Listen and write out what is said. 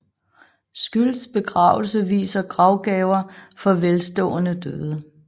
Scylds begravelse viser gravgaver for velstående døde